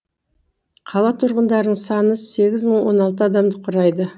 қала тұрғындарының саны сегіз мың он алты адамды құрайды